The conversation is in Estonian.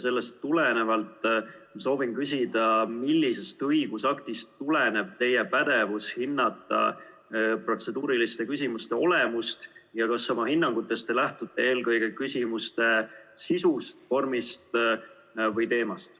Sellest tulenevalt soovin küsida, millisest õigusaktist tuleneb teie pädevus hinnata protseduuriliste küsimuste olemust ja kas te oma hinnangutes lähtute eelkõige küsimuste sisust, vormist või teemast.